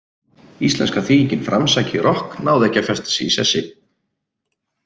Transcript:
Íslenska þýðingin framsækið rokk náði ekki að festa sig í sessi.